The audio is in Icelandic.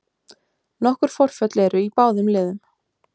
Nokkur forföll eru í báðum liðum